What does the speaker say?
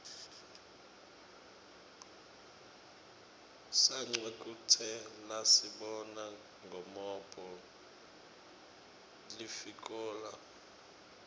sacwa kutjelasibona ngomophg lifikola